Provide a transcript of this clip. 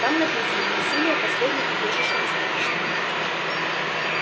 там написано насилие последнее убежище беспомощного